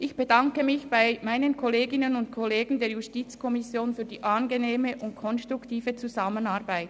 Ich bedanke mich bei meinen Kolleginnen und Kollegen der JuKo für die angenehme und konstruktive Zusammenarbeit.